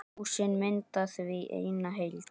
Húsin mynda því eina heild.